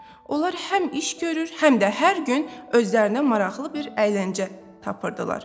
Onlar həm iş görür, həm də hər gün özlərinə maraqlı bir əyləncə tapırdılar.